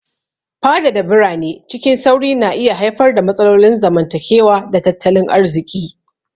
Fadada birane cikin sauri na iya haifar da matsalolin zamantakewa da tattalin arziki.